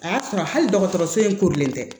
A y'a sɔrɔ hali dɔgɔtɔrɔso in korilen tɛ